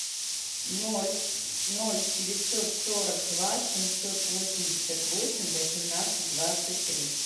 ноль ноль девятьсот сорок два семьсот восемьдесят восемь восемнадцать двадцать три